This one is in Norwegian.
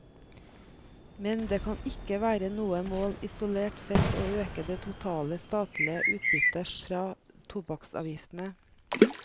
Men det kan ikke være noe mål isolert sett å øke det totale statlige utbyttet fra tobakksavgiftene.